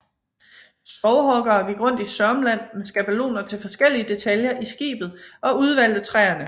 Skovhuggere gik rundt i Sörmland med skabeloner til forskellige detaljer i skibet og udvalgte træerne